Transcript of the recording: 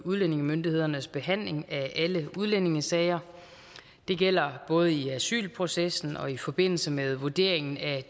udlændingemyndighedernes behandling af alle udlændingesager det gælder både i asylprocessen og i forbindelse med vurderingen af